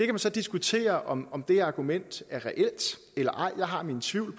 kan så diskutere om om det argument er reelt eller ej jeg har mine tvivl